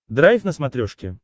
драйв на смотрешке